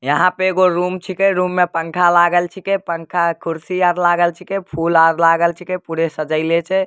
यहाँ पे एगो रूम छिके रूम में पंखा लागल छिके पंखा कुर्सी और लागल छिके फूल और लागल छिके पूरे सजएले छै।